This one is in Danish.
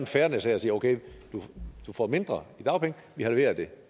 fairness her og sige okay du får mindre i dagpenge vi halvere det